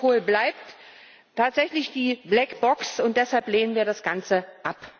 Europol bleibt tatsächlich die Blackbox, und deshalb lehnen wir das Ganze ab.